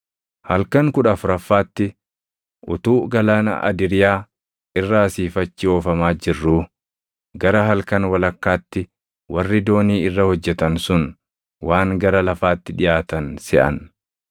Halkan kudha afuraffaatti utuu galaana Adiriyaa irra asii fi achi oofamaa jirruu gara halkan walakkaatti warri doonii irra hojjetan sun waan gara lafaatti dhiʼaatan seʼan.